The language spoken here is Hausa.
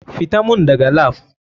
FITA mun dagan lap.